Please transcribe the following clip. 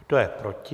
Kdo je proti?